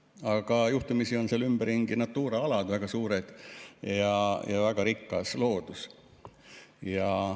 Aga juhtumisi on seal ümberringi väga suured Natura alad, väga rikas loodus.